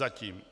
Zatím.